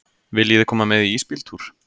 Viljiði koma með í ísbíltúr?